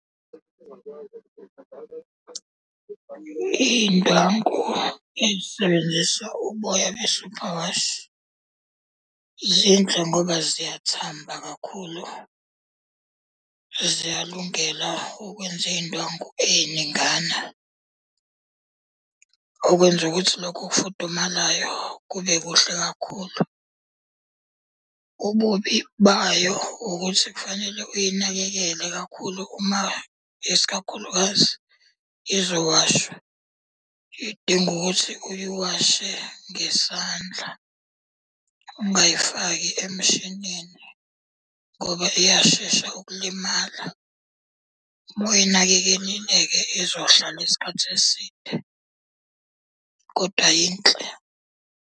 Iy'ndwangu ey'sebenzisa uboya be-superwash zinhle ngoba ziyathamba kakhulu, ziyalungela ukwenza iy'ndwangu ey'ningana. Okwenza ukuthi lokhu okufudumalayo kube kuhle kakhulu. Ububi bayo ukuthi kufanele uyinakekele kakhulu uma isikakhulukazi izowashwa, idinga ukuthi uyiwashe ngesandla, ungayifaki emshinini ngoba iyashesha ukulimala. Uma uyinakekelile-ke izohlala isikhathi eside. Kodwa yinhle.